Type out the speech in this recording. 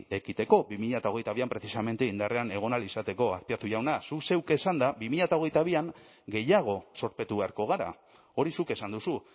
ekiteko bi mila hogeita bian precisamente indarrean egon ahal izateko azpiazu jauna zuk zeuk esanda bi mila hogeita bian gehiago zorpetu beharko gara hori zuk esan duzu